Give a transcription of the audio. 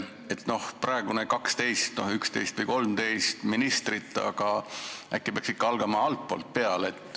Praegune ettepanek on 12, 11 või 13 ministrit, aga äkki peaks ikka alustama altpoolt?